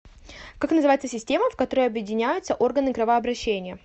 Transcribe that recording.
как называется система в которую объединяются органы кровообращения